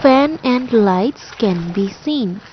fan and lights can be seen.